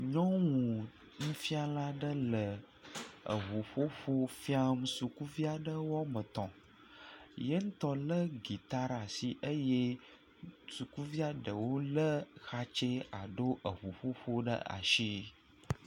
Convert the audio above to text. Nyɔnu nufiala ɖe le eʋuƒoƒo fiam sukuviaɖe woame etɔ̃, ye ŋutɔ lé gita ɖe asi eye sukuviaɖewo lé xatse alo eʋuƒoƒo ɖe asi.